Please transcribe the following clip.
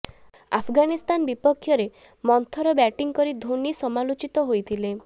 ଆଫଗାନିସ୍ତାନ ବିପକ୍ଷରେ ମନ୍ଥର ବ୍ୟାଟିଂ କରି ଧୋନି ସମାଲୋଚିତ ହୋଇଥିଲେ